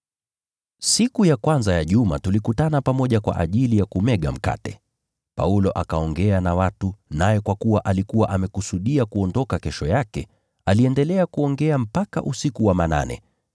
Siku ya kwanza ya juma tulikutana pamoja kwa ajili ya kumega mkate. Paulo akaongea na watu, naye kwa kuwa alikuwa amekusudia kuondoka kesho yake, aliendelea kuongea mpaka usiku wa manane.